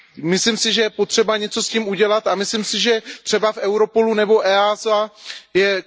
Myslím si, že je potřeba něco s tím udělat, a myslím si, že třeba v Europolu nebo EEAS je...